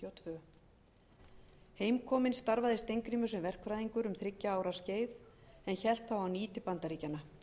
fimmtíu og tvö heimkominn starfaði steingrímur sem verkfræðingur um þriggja ára skeið en hélt þá á ný til bandaríkjanna